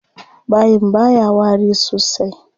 Bayin baya wari sosai.